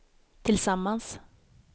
tillsammans